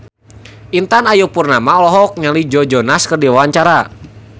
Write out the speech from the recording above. Intan Ayu Purnama olohok ningali Joe Jonas keur diwawancara